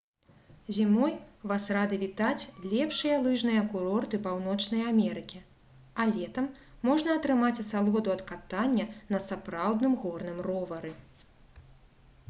зімой вас рады вітаць лепшыя лыжныя курорты паўночнай амерыкі а летам можна атрымаць асалоду ад катання на сапраўдным горным ровары